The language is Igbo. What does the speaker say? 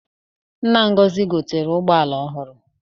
Nna Ngozi gotere ụgboala ọhụrụ.